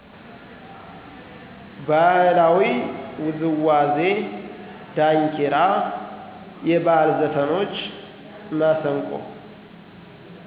ባህላዊ ዉዝዋዜ ዳንኪራ የባህል ዘፍኖች፣ መሰንቆ።